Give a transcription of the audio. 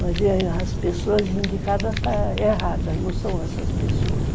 Mas as pessoas indicadas estão erradas, não são essas pessoas.